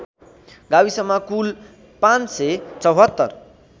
गाविसमा कुल ५७४